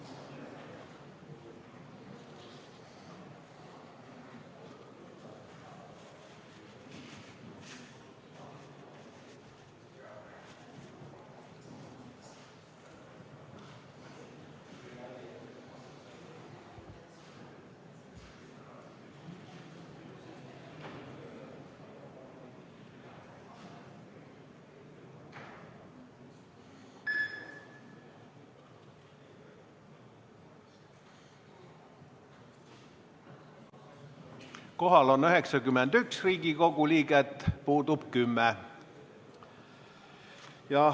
Kohal on 91 Riigikogu liiget, puudub 10.